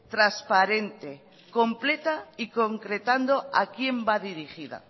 transparente completa y concretando a quien va dirigida